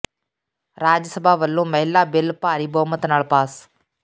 ਰਾਜ ਸਭਾ ਵੱਲੋਂ ਮਹਿਲਾ ਬਿਲ ਭਾਰੀ ਬਹੁਮਤ ਨਾਲ ਪਾਸ